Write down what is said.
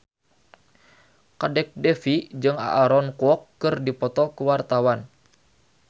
Kadek Devi jeung Aaron Kwok keur dipoto ku wartawan